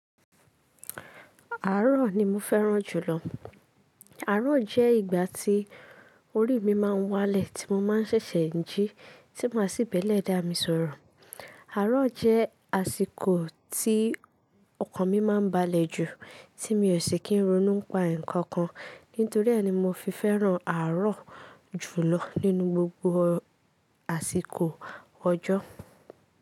Àárọ̀ ni mo fẹ́ràn jùlọ. Àárò jẹ́ ìgbà tí orí mi máa ń wálẹ̀, tí mo máa ń ṣẹ̀ṣẹ̀ jí, tí máa sì b'ẹ́lẹ̀dá mi sọ̀rọ̀. Àárọ̀ jẹ́ àsìkò tí ọkàn mi máa ń balẹ̀ jù, tí mi ò sì kí n ronu pa nǹkan kan. Nítorí ẹ̀ ni mo fi fẹ́ràn àárọ̀ jùlọ nínú gbogbo àsìkò ọjọ́.